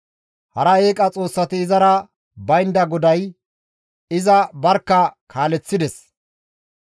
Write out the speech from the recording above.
Hara eeqa xoossati izara baynda GODAY iza barkka kaaleththides.